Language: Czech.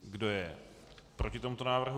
Kdo je proti tomuto návrhu?